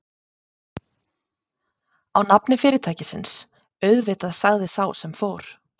Á nafni fyrirtækisins, auðvitað sagði sá sem fór.